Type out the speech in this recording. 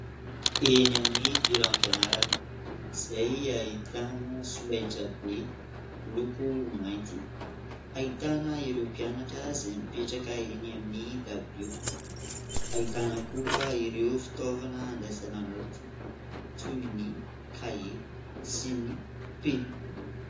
Eny amin'ny toeram-pianarana izay ahitana solaitrabe miloko mainty ; ahitana ireo mpianatra izay mipetraka eny amin'ny dabilio. Ahitana koa ireo fitaovana andraisana naoty toy ny kahie sy ny penina.